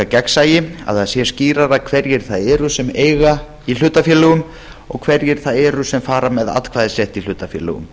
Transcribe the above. gegnsæi að það sé skýrara hverjir það eru sem eiga í hlutafélögum og hverjir það eru sem fara með atkvæðisrétt í hlutafélögum